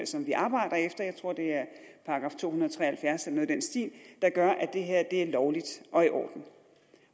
som vi arbejder efter jeg tror at det er § to hundrede og tre og halvfjerds eller noget i den stil der gør at det her er lovligt og i orden